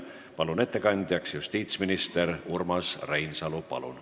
Palun ettekandjaks justiitsminister Urmas Reinsalu!